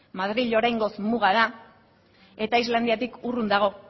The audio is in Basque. madril oraingoz muga da eta islandiatik urrun dago